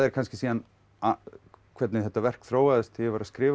kannski síðan hvernig þetta verk þróaðist þegar ég var að skrifa